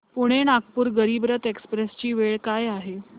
Pune Nagpur Garib Rath express ची वेळ काय आहे